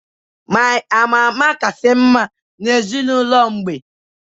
My ama ama kasị mma ezinụlọ mgbe